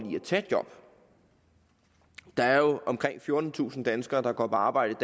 tage job der er jo omkring fjortentusind danskere der går på arbejde